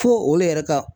Fo olu yɛrɛ ka